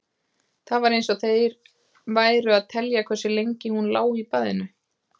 Það var eins og þeir væru að telja hversu lengi hún lá í baðinu.